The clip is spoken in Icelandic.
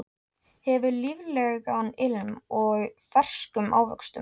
Hefur líflegan ilm af ferskum ávöxtum.